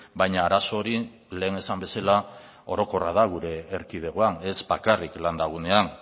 baina arazo hori lehen esan bezala orokorra da gure erkidegoan ez bakarrik landa gunean